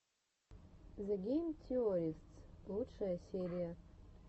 зе гейм теористс лучшая серия